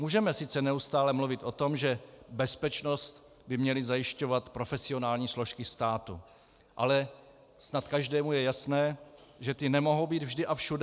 Můžeme sice neustále mluvit o tom, že bezpečnost by měly zajišťovat profesionální složky státu, ale snad každému je jasné, že ty nemohou být vždy a všude.